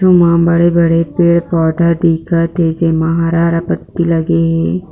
जू मा बड़े बड़े पेड़ पौधा दिख थे जे मा हरा हरा पत्ती लगे हे।